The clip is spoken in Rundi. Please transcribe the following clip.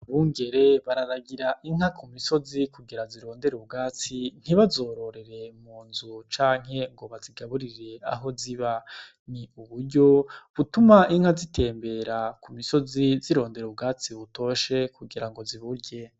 Abungere bararagira inka ku misozi kugira zirondere ubwatsi ntibazorororere mu nzu canke ngo bazigaburire aho ziba, ni uburyo butuma inka zitembera ku misozi zirondera ubwatsi butoshe kugira ngo ziburye.